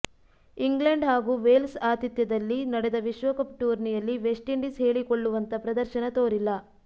England ಹಾಗೂ Wales ಆತಿಥ್ಯದಲ್ಲಿ ನಡೆದ ವಿಶ್ವಕಪ್ ಟೂರ್ನಿಯಲ್ಲಿ ವೆಸ್ಟ್ ಇಂಡೀಸ್ ಹೇಳಿಕೊಳ್ಳುವಂತ ಪ್ರದರ್ಶನ ತೋರಿಲ್ಲ